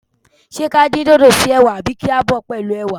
Ṣé ka dín dòdò si ẹwà àbí kí a bọ̀ ọ́ pẹ̀lú ẹwà?